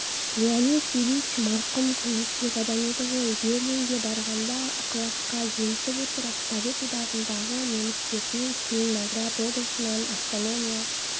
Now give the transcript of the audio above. леонид ильич марқұм көңілшек адам еді ғой берлинге барғанда ықыласқа елітіп отырып совет одағындағы немістерге целиноград облысынан автономия